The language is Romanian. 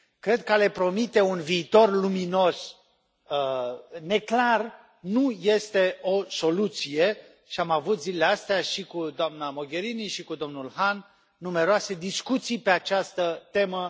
Cred că a le promite un viitor luminos, neclar, nu este o soluție și am avut zilele acestea și cu doamna Mogherini și cu domnul Hahn numeroase discuții pe această temă.